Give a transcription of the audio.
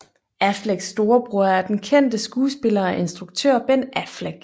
Afflecks storebror er den kendte skuespiller og instruktør Ben Affleck